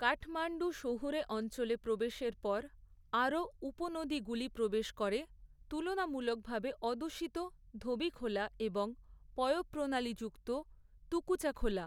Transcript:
কাঠমাণ্ডুর শহুরে অঞ্চলে প্রবেশের পর, আরও উপনদীগুলি প্রবেশ করে; তুলনামূলকভাবে অদূষিত ধোবিখোলা এবং পয়ঃপ্রণালী যুক্ত তুকুচা খোলা।